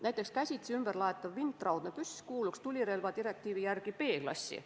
Näiteks käsitsi ümberlaetav vintraudne püss kuuluks tulirelvadirektiivi järgi B-klassi.